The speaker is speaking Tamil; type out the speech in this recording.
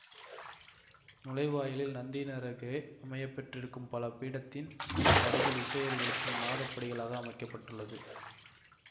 நுழைவாயிலில் நந்தியினருகே அமையப்பெற்றிருக்கும் பலி பீடத்தின் படிகள் இசையொலி எழுப்பும் நாதப்படிகளாக அமைக்க பட்டுள்ளது